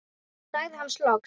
sagði hann loks.